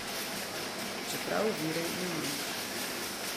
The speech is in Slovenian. Čeprav virov ne manjka.